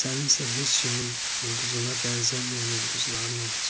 Sənin isə heç kimin ulduzuna bənzəməyən ulduzların olacaq.